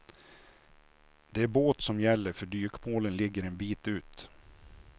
Det är båt som gäller för dykmålen ligger en bit ut.